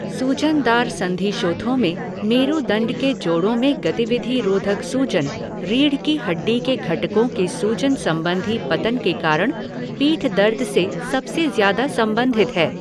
सूजनदार संधिशोथों में, मेरुदंड के जोड़ों में गतिविधि रोधक सूजन, रीढ़ की हड्डी के घटकों के सूजन संबंधी पतन के कारण पीठ दर्द से सबसे ज्यादा संबंधित है।